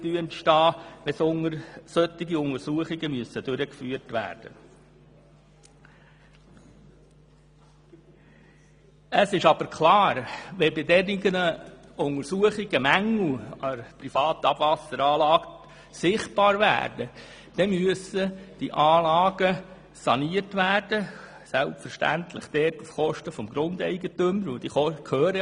Wenn bei solchen Untersuchungen Mängel an der privaten Abwasseranlage sichtbar werden, geht die Anlagensanierung selbstverständlich auf Kosten des Grundeigentümers.